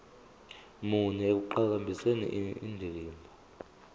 muni ekuqhakambiseni indikimba